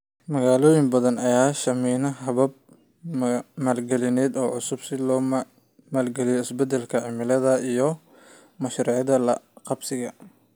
Magaalooyin badan ayaa sahaminaya habab maalgelineed oo cusub si loo maalgeliyo isbeddelka cimilada iyo mashaariicda la qabsiga.